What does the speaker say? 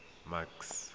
max